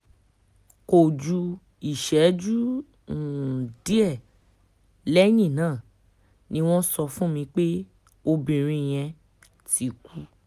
kò ju ìṣẹ́jú um díẹ̀ lẹ́yìn náà ni wọ́n sọ fún mi pé obìnrin yẹn um ti kú